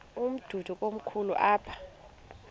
umdudo komkhulu apha